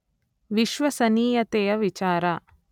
ವಿಶ್ವಸನೀಯತೆಯ ವಿಚಾರ